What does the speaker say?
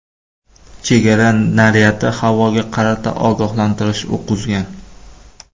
Chegara naryadi havoga qarata ogohlantirish o‘qi uzgan.